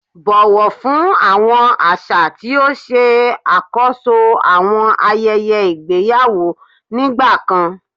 Bọwọ fun awọn aṣa ti o ṣe akoso awọn ayẹyẹ igbeyawo nigbakan